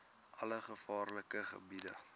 alle gevaarlike gebiede